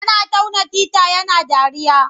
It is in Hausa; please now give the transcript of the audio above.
Yana tauna tita yana dariya.